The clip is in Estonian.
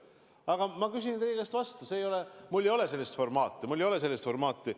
Aga ma küsin teie käest vastu, kuigi mul ei ole selleks formaati.